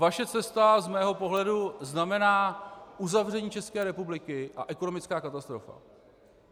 Vaše cesta z mého pohledu znamená uzavření České republiky a ekonomickou katastrofu.